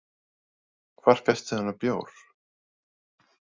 Hvar fékkstu þennan bjór?